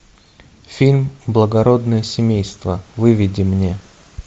фильм благородное семейство выведи мне